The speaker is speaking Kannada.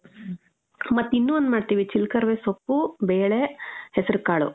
ಮತ್ತ್ ಇನ್ನೂ ಒಂದ್ ಮಾಡ್ತೀವಿ. ಚಿಲ್ಕರವೆ ಸೊಪ್ಪು, ಬೇಳೆ, ಹೆಸ್ರುಕಾಳು.